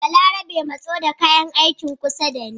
Balarabe matso da kayan aikin kusa da ni